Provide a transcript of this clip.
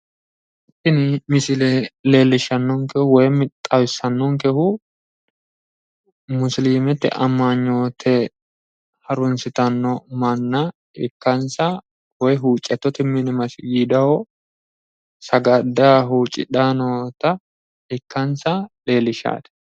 Tini misile leellishshannohu woyimi xawissannonkehu musiliimete amanyoote harunsitanno manna ikkansa woyi huuccattote mine masgiidaho sagaddayi huuccidhayi noota ikkansa leellishshawo.